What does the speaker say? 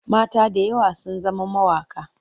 Mata da yawa sun zama mawaƙa.